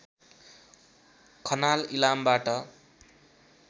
Khanal इलामबाट